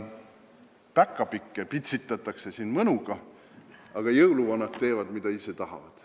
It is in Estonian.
Päkapikke pitsitatakse mõnuga, aga jõuluvanad teevad, mida tahavad.